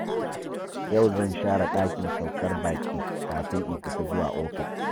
Yau zan share ɗakin saukar baƙi kafin in fita zuwa ofis.